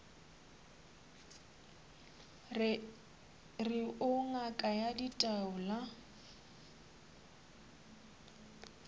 re o ngaka ya ditaola